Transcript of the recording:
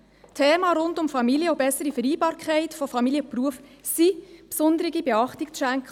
Themen rund um die Familie und um die bessere Vereinbarkeit von Familie und Beruf sollen besonders beachtet werden.